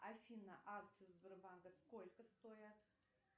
афина акции сбербанка сколько стоят